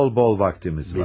Bol bol vaktimiz var.